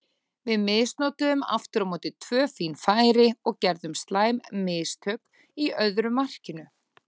Við misnotuðum aftur á móti tvö fín færi og gerðum slæm mistök í öðru markinu.